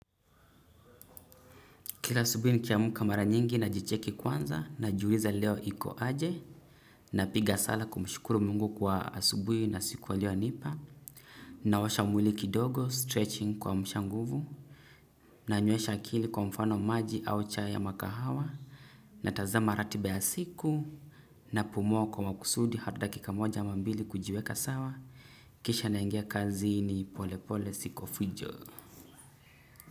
Kila asubuhi nikiamka mara nyingi najicheki kwanza najiuliza leo iko aje napiga sala kumshukuru mungu kwa asubuhi na siku aliyonipa na washa mwili kidogo stretching kuamsha nguvu nanywesha akili kwa mfano maji au chai ama kahawa natazama ratiba ya siku napumua kwa makusudi hata dakika moja ama mbili kujiweka sawa kisha naingia kazini pole pole si kwa fujo.